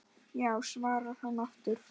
Já svarar hann aftur.